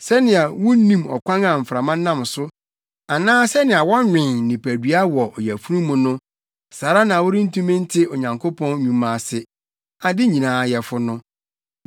Sɛnea wunnim ɔkwan a mframa nam so, anaa sɛnea wɔnwen nipadua wɔ ɔyafunu mu no, saa ara na worentumi nte Onyankopɔn nnwuma ase, ade nyinaa Yɛfo no.